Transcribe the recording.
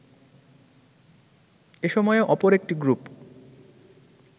এসময়ে অপর একটি গ্রুপ